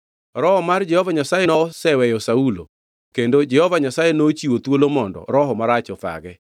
Roho mar Jehova Nyasaye noseweyo Saulo kendo Jehova Nyasaye nochiwo thuolo mondo roho marach othage.